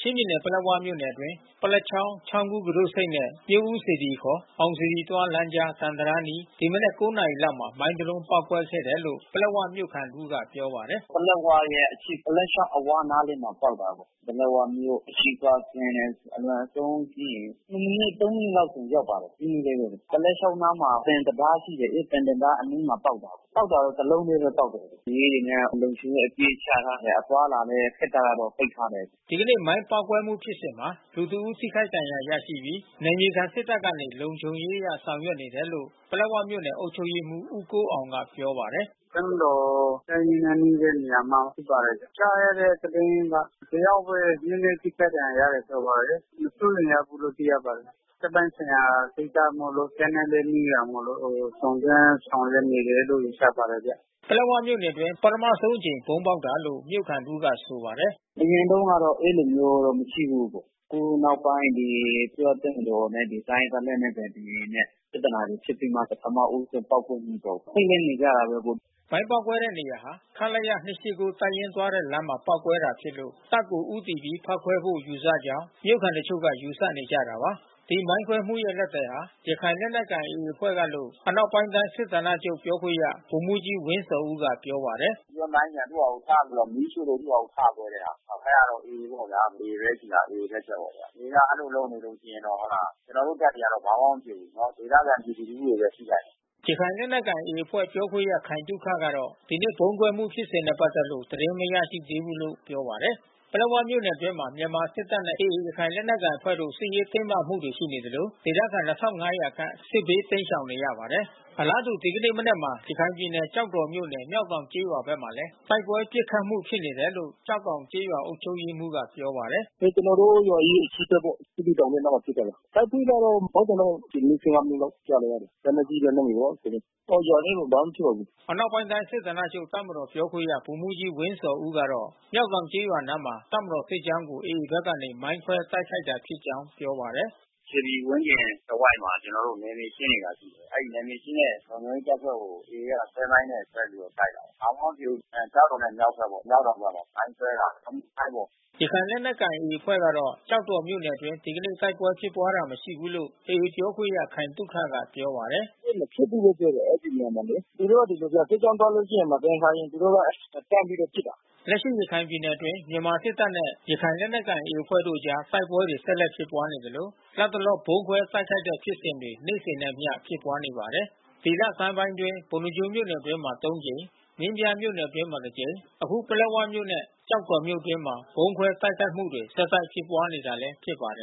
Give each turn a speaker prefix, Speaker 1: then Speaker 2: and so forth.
Speaker 1: ချင်းပြည်နယ်၊ ပလက်ဝမြို့အတွင်း ပလက်ချောင်း၊ ချောင်းဝကူတို့ဆိပ်နဲ့ မြို့ဦးစေတီ(ခေါ်) အောင်စေတီသွား လမ်းကြား သံတံတား အနီး ဒီမနက်၉နာရီ လောက်မှာ မိုင်းတစ်လုံး ပေါက်ကွဲခဲ့တယ်လို့ ပလက်ဝမြို့ခံ တဦးက ပြောပါတယ်
Speaker 2: ။ “ ပလက်ဝရဲ့ အရှေ့ ပလက်ချောင်းအ၀ နားလေးမှာ ပေါက်တာ။ ပလက်ဝမြို့ အရှေ့ဖက်ကွင်းနဲ့ အလွန်ဆုံးရှိရင် နှစ်မိနစ် သုံးမိနစ်လောက်ဆိုရောက်ပါတယ်။ နီးနီးလေးဘဲ။ ပလက်ချောင်း အနားမှာ သံတံတားရှိတယ်။ အဲဒီသံတံတား အနားမှာ ပေါက်တာ။ ပေါက်တာက တလုံးထဲဘဲပေါက်တယ်။ ရဲတွေနဲ့ လုံခြုံရေး အပြည့်ချထားတယ်။ အသွားအလာလည်း ခေတ္တတော့ ပိတ်ထ
Speaker 1: ားတယ်။” ဒီနေ့မိုင်းပေါက်ကွဲမှု ဖြစ်စဉ်မှာ လူတဦးထိခိုက်ဒဏ်ရာရရှိပြီး နယ်မြေခံ စစ်တပ်ကနေ လုံခြုံရေးအရ ဆောင်ရွက်နေ တယ်လို့ ပလက်ဝမြို့နယ်အုပ်ချုပ်ရေးမှူး ဦးကိုးအောင်က ပြောပါတယ်။
Speaker 2: “တပ်မတော်နဲ့ နားနီးတဲ့ နေရာမှာဖြစ်ပါတယ်။ ကြားရတဲ့ သတင်းက တယောက်ဘဲ နဲနဲ ထိခိုက် ဒဏ်ရာရတယ်လို့ ပြောပါ တယ်။ မစိုးရိမ်ရဘူးလို့သိရပါတယ်။ တပ်ပိုင်းဆိုင်ရာ ကိစ္စမို့လို့ တပ်နဲ့ လဲနီးတာမို့လို့ စုံစမ်းဆောင်ရွက်နေတယ်လို့ ယူဆပါတ
Speaker 1: ယ်ဗျ။” ပလက်ဝမြို့အတွင်း ပထမဦးဆုံးအကြိမ် ဗုံးပေါက်တာလို့ မြို့ခံတဦးက ဆိုပါတယ်။ “အရင်
Speaker 2: တုန်းကတော့ အဲဒီလိုမျိုးမရှိဘူး။ အခုနောက်ပိုင်း ဒီအစိုးရတပ်မတော်နဲ့ တိုင်းရင်းသား လက်နက်ကိုင်တွေနဲ့ ပြဿနာတွေဖြစ်ပြီးမှ ပထမဦးဆုံးပေါက်ကွဲမှုပေါ့။ ထိတ်လန့်နေကြတာပေါ့။
Speaker 1: ” မိုင်းပေါက်ကွဲတဲ့နေရာဟာ ခလရ(၂၈၉)တပ်ရင်းသွားတဲ့လမ်းမှာပေါက်ကွဲတာဖြစ်လို့ တပ်ကိုဦးတည် ပြီးဖေါက်ခွဲဖို့ ယူဆကြောင်း မြို့ခံတချို့က ယူဆနေကြတာပါ။ ဒီမိုင်းခွဲမှုရဲ့ လက်သည်ဟာ ရခိုင်လက်နက်ကိုင် AAအဖွဲ့ကလို့ အနောက်ပိုင်းတိုင်း စစ်ဌာနချုပ် ပြောခွင့်ရ ဗိုလ်မှူးကြီး ဝင်းဇော်ဦးက ပြောပါတယ်။
Speaker 2: “ဆွဲမိုင်းနဲ့သူဟာသူချပြီးတော့ မီးရှို့ပြီးသူ့ဟာသူ ထကွဲတဲ့ဟာ။ အဲတာတော့ AAပေါ့ဗျာ။ AAဘဲရှိတာ AAလက်ချက်ပေါ့။ AAကအဲဒီလိုလုပ်နေလို့ ရှိရင်တော့ ဟုတ်လား။ ကျွန်တော်တို့ တပ်တွေကတော့ ဘာမှမဖြစ်ဘုူး။ ဒေသခံပြည်သူလူထု တွေဘဲ ထိခိုက်တယ်။
Speaker 1: ” ရခိုင်လက်နက်ကိုင် AAအဖွဲ့ပြောခွင့်ရ ခိုင်သုခကတော့ ဒီနေ့ဗုံးကွဲမှုဖြစ်စဉ်တွေနဲ့ပက်သက်လို့ သတင်းမရရှိသေးဘူး လို့ ပြောပါတယ်။ ပလက်ဝမြို့နယ် အတွင်းမှာ မြန်မာစစ်တပ်နဲ့AA ရခိုင်လက်နက်ကိုင်အဖွဲ့တို့ စစ်ရေးတင်းမာမှုတွေ ရှိနေသလို ဒေသ ခံ(၂၅၀၀)ခန့် စစ်ဘေးတိမ်းရှောင်နေရပါတယ်။ အလားတူ ဒီကနေ့မနက်မှာ ရခိုင်ပြည်နယ် ကျောက်တော်မြို့နယ် မျောက်တောင်ကျေးရွာဘက်မှာလဲ တိုက်ပွဲပစ်ခတ် မှုဖြစ်နေတယ်လို့ မျောက်တောင်ကျေးရွာအုပ်ချုပ်ရေးမှူးကပြောပါတယ်။
Speaker 2: “ကျွန်တော်တို့ရွာရဲ့ အရှေ့ဖက်ပေါ့။ အဲဒီတောင်ရဲ့အနားမှာဖြစ်တာပါ။ တိုက်ပွဲကတော့ ပေါက်သံတော့(၁၀)မိနစ်(၁၅) မိနစ်လောက်ကြားနေရတယ်။ လက်နက်ကြီးလက်နက်ငယ်ပေါ့။ ရွာထဲဘာမှမဖြစ်ပါဘူး။
Speaker 1: ” အနောက်ပိုင်းတိုင်းစစ်ဌာနချုပ်ပြောခွင့်ရ ဗိုလ်မှူးကြီး ဝင်းဇော်ဦးကတော့ မျောက်တောင် ကျေးရွာ အနားမှာ တပ်မတော် စစ်ကြောင်းကို AAဖက်ကနေ မိုင်းခွဲတိုက်ခိုက်တာ ဖြစ်ကြောင်းပြောပါတယ်။
Speaker 2: “ရွှေပြည်ဝန်းကျင်တဝိုက်မှာ ကျွန်တော်တို့နယ်မြေရှင်းနေတာရှိတယ်။ အဲဒီနယ်မြေရှင်းတဲ့ လုံခြုံရေးတပ်ဖွဲ့တွေကို AA ကဆွဲမိုင်းနဲ့ ဆွဲပြီးတော့တိုက်တာ။ ဘာမှမဖြစ်ဘူး။ ကျောက်တော်ရဲ့မြောက်ဖက်ပေါ့။ မျောက်တောင်ဖက်မှာ။ မိုင်းဆွဲတာ ရီမုမိုင်းပေါ့။”
Speaker 1: ရခိုင်လက်နက်ကိုင်AAအဖွဲ့ကတော့ ကျောက်တော်မြို့နယ်အတွင်း ဒီကနေ့တိုက်ပွဲဖြစ်ပွား တာမရှိဘူးလို့ AAပြောခွင့်ရ ခိုင်သုခကပြောပါတယ်
Speaker 2: ။ “တိုက်ပွဲမဖြစ်ဘူးလို့ပြောတယ် အဲဒီနေရာမှာလေ။ သူတို့ကဒီလိုဗျ။ စစ်ကြောင်းသွားလို့ ရှိရင် မသင်္ကာရင်သူတို့က စမ်းပြီးတော့ပစ်တာ။
Speaker 1: ” လက်ရှိရခိုင်ပြည်နယ်အတွင်း မြန်မာစစ်တပ်နဲ့ ရခိုင်လက်နက်ကိုင်AAအဖွဲ့တို့အကြား တိုက်ပွဲတွေ ဆက်လက် ဖြစ်ပွားနေသလို လတ်တလော ဗုံးခွဲတိုက်ခိုက်တဲ့ဖြစ်စဉ်တွေ နေ့စဉ်နဲ့အမျှ ဖြစ်ပွားနေတာပါ။ ဒီလဆန်းပိုင်းအတွင်း ပုဏ္ဏားကျွန်းမြို့နယ် အတွင်းမှာ(၃)ကြိမ် မင်းပြားမြို့နယ်အတွင်းမှာ တကြိမ် အခု ပလက်ဝမြို့နဲ့ ကျောက်တော်မြို့နယ်အတွင်းမှာ ဗုံးခွဲတိုက်ခိုက်မှုတွေ ဆက်လက်ဖြစ်ပွား နေတာလည်း ဖြစ်ပါတယ်။